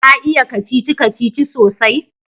Ka iya kacici-kacici sosai?